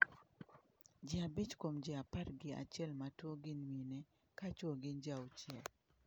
Ji abich kuom ji par gi achiel matuo gin mine ka chuo gin ji auchiel.